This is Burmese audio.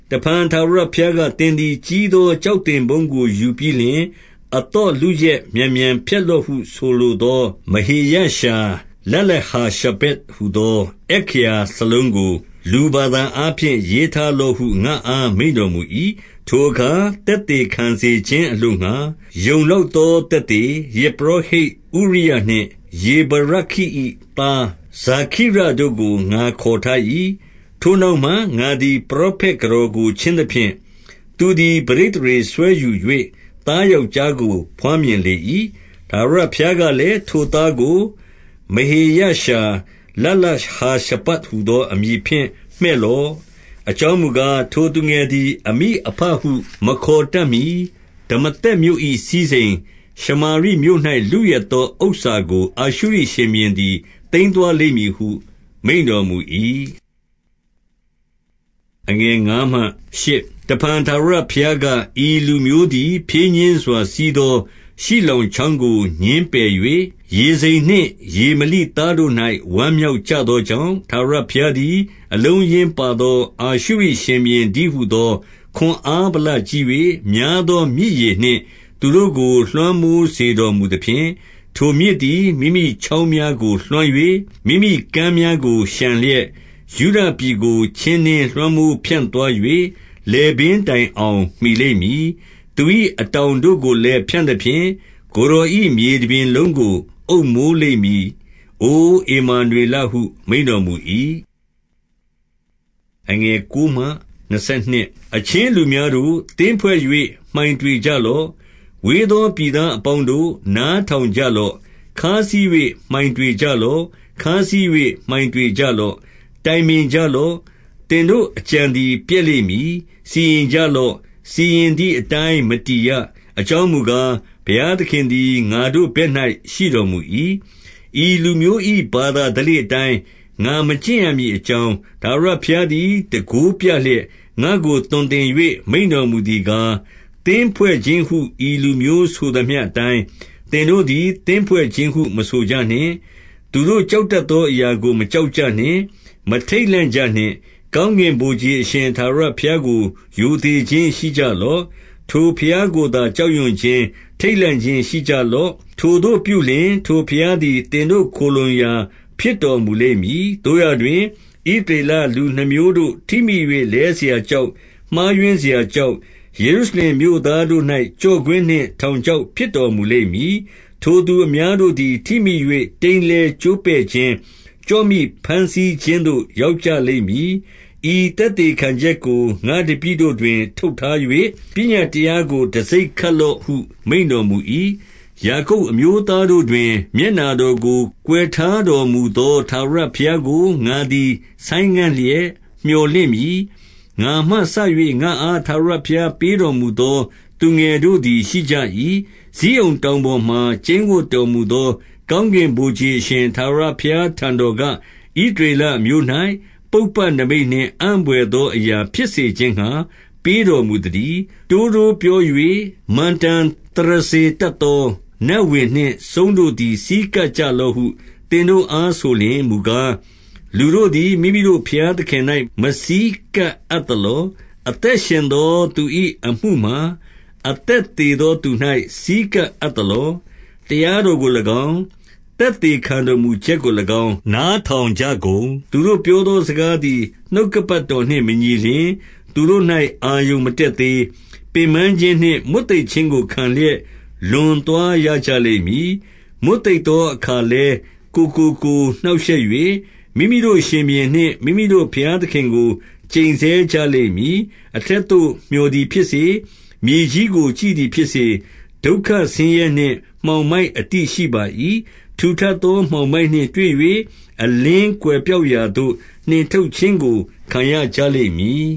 တဖန်ထာဝရဘုရားက၊ သင်သည်ကြီးသော ကျောက်သင်ပုန်းကိုယူပြီးလျှင်၊ အသော့လုယက် မြန်မြန် ဖျက်လော့ဟု ဆိုလိုသော၊ မဟေရရှာလလဟာရှဗတ် ဟူသော အက္ခရာစာလုံးကို လူဘာသာအားဖြင့် ရေးထား လော့ဟု ငါ့အား မိန့်တော်မူ၏။ 2 ထိုအခါ သက်သေခံစေခြင်းအလိုငှါ၊ ယုံလောက် သောသက်သေ၊ ယဇ်ပုရောဟိတ်ဥရိယနှင့် ယေဗရခိ၏ သား ဇာခိရိတို့ကို ငါခေါ်ထား၏။ 3 ထိုနောက်မှငါသည် ပရောဖက်ကတော်ကို ချဉ်း သဖြင့်၊ သူသည် ပဋိသန္ဓေစွဲယူ၍ သားယောက်ျားကို ဘွားမြင်လေ၏။ ထာဝရဘုရားကလည်း၊ ထိုသားကို မဟေရရှာလဟာရှဗတ်ဟူသော အမည်ဖြင့်မှည့်လော့။ 4 အကြောင်းမူကား။ ထိုသူငယ်သည် အမိအဘ ဟူမခေါ်တတ်မှီ၊ ဒမာသက်မြို့၏ စည်းစိမ်၊ ရှမာရိမြို့၌ လုယက် သောဥစ္စာကို အာရှုရိရှင်ဘုရင်သည် သိမ်းသွား လိမ့်မည်ဟု မိန့်တော်မူ၏။ 5 တဖန်ထာဝရဘုရားက၊ ဤလူမျိုးသည် ဖြည်း ညှင်းစွာစီးသော ရှိလောင်ချောင်းကို ငြင်းပယ်၍၊ 6 ရေဇိန်နှင့် ရေမလိသားတို့၌ ဝမ်းမြောက်ကြ သောကြောင့်၊ 7 ထာဝရဘုရားသည် အလုံးအရင်းပါသော အာရှု ရိရှင်ဘုရင်တည်းဟူသော၊ ခွန်အားဗလကြီး၍များသော မြစ်ရေနှင့်သူတို့ကို လွှမ်းမိုးစေတတ်တော်မူသဖြင့်။ ထိုမြစ် သည် မိမိချောင်များကို လွှမ်း၍၊ မိမိကမ်များကို လျှံလျက်၊ 8 ယုဒပြည်ကို ချင်းနင်းလွှမ်းမိုး ဖြန့်သွား၍၊ လည်ပင်းတိုင်အောင်မှီလိမ့်မည်။ သူ၏ အတောင်တို့ကို လည်း ဖြန့်သဖြင့်၊ ကိုယ်တော်၏မြေတပြင်လုံးကို အုပ်မိုး လိမ့်မည်၊ အိုဧမာနွေလဟု မိန့်တော်မူ၏။ 9 အချင်းလူများတို့၊ သင်းဖွဲ့၍မှိုင်တွေကြလော့။ ဝေး သောပြည်သားအပေါင်းတို့၊ နားထောင်ကြလော့။ ခါးစည်း၍ မှိုင်တွေကြလော့။ ခါးစည်း၍ မှိုင်တွေကြ လော့။ 10 တိုင်ပင်ကြလော့။ သင်တို့အကြံသည် ပျက်လိမ့်မည်။ စီရင်ကြ လော့။ စီရင်သည်အတိုင်း မတည်ရ။ အကြောင်းမူကား၊ ဘုရားသခင်သည် ငါတို့ဘက်၌ ရှိတော်မူ၏။ 11 ဤလူမျိုး၏ ဘာသာဓလေ့အတိုင်း၊ ငါမကျင့်ရ မည်အကြောင်း၊ ထာဝရဘုရားသည် တန်ခိုးပြလျက်၊ ငါ့ကို သွန်သင်၍မိန့်တော်မူသည်ကား၊ 12 သင်းဖွဲ့ခြင်းဟု၊ ဤလူမျိုးဆိုသမျှအတိုင်း၊ သင်တို့ သည် သင်းဖွဲ့ခြင်းဟု မဆိုကြနှင့်။ သူတို့ကြောက်တတ် သောအရာကို မကြောက်ကြနှင့်။ မထိန့်လန့်ကြနှင့်။ 13 ကောင်းကင်ဗိုလ်ခြေ အရှင်ထာဝရဘုရားကို ရိုသေခြင်းရှိကြလော့။ ထိုဘုရားကိုသာ ကြောက်ရွံ့ခြင်း၊ ထိန့်လန့်ခြင်းရှိကြလော့။ 14 ထိုသို့ပြုလျှင်၊ ထိုဘုရားသည် သင်တို့ခိုလှုံရာ ဖြစ်တော်မူလိမ့်မည်။ သို့ရာတွင် ဣသရေလလူနှစ်မျိုးတို့ ထိမိ၍လဲစရာကျောက်၊ မှားယွင်းစရာကျောက်၊ ယေရု ရှလင်မြို့သားတို့၌ ကျော့ကွင်းနှင့် ထောင်ချောက် ဖြစ်တော်မူလိမ့်မည်။ 15 ထိုသူအများတို့သည် ထိမိ၍ တိမ်းလဲကျိုးပဲ့ခြင်း၊ ကျော့မိဘမ်းဆီးခြင်းသို့ ရောက်ကြလိမ့်မည်။ 16 ဤသက်သေခံချက်ကို ငါ့တပည့်တို့တွင် ထုပ် ထား၍၊ ပညတ်တရားကို တံဆိပ်ခတ်လော့ဟု မိန့်တော် မူ၏။ 17 ယာကုပ်အမျိုးသားတို့တွင် မျက်နှာတော်ကို ကွယ်ထားတော်မူသော ထာဝရဘုရားကို ငါသည် ဆိုင်းငံ့ လျက် မြော်လင့်မည်။ 18 ငါမှစ၍ ငါ့အားထာဝရဘုရားပေးတော်မူသော သူငယ်တို့သည် ရှိကြ၏။ ဇိအုန်တောင်ပေါ်မှာ ကျိန်းဝပ် တော်မူသော ကောင်းကင်ဗိုလ်ခြေအရှင် ထာဝရဘုရား ထံတော်က၊ ဣသရေလအမျိုး၌ ပုပ္ပနိမိတ်နှင့် အံ့ဘွယ် သော အရာဖြစ်စေခြင်းငှါ ပေးတော်မူသတည်း။ 19 တိုးတိုးပြော၍ မန္တန်သရဇ္ဈာယ်တတ်သော နတ် ဝင်နှင့် စုန်းတို့၌ ဆည်းကပ်ကြလော့ဟု သင်တို့အား ဆိုလျှင်မူကား၊ လူတို့သည် မိမိတို့ဘုရားသခင်၌ မဆည်း ကပ်အပ်သလော။ အသက်ရှင်သော သူ၏အမှုမှာ အသက်သေသောသူ၌ ဆည်းကပ်အပ်သလော။ 20 တရားတော်ကို၎င်း၊ သက်သေခံတော်မူချက်ကို၎င်း နားထောင်ကြကုန်။ သူတို့ပြောသောစကားသည် နှုတ်ကပတ်တော်နှင့်မညီလျှင်၊ သူတို့၌ အာရုဏ်မတတ် သေး။ 21 ပင်ပန်းခြင်းနှင့် မွတ်သိပ်ခြင်းကိုခံလျက် လွန် သွားရကြလိမ့်မည်။ မွတ်သိပ်သောအခါလည်း ကိုယ်ကို ကိုယ်နှောင့်ရှက်၍၊ မိမိတို့ ရှင်ဘုရင်နှင့် မိမိတို့ ဘုရားသခင်ကို ကျိတ်ဆဲကြလိမ့်မည်။ 22 အထက်သို့မျှော်သည်ဖြစ်စေ၊ မြေကြီးကို ကြည့်သည်ဖြစ်စေ၊ ဒုက္ခဆင်းရဲနှင့် မှောင်မိုက်အတိရှိပါ ၏။ ထူထပ်သော မှောင်မိုက်နှင့်တွေ့၍၊ အလင်းကွယ် ပျောက်ရာသို့ နှင်ထုတ်ခြင်းကို ခံရကြလိမ့်မည်